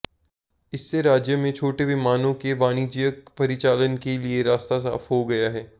इससे राज्य में छोटे विमानों के वाणिज्यिक परिचालन के लिए रास्ता साफ हो गया है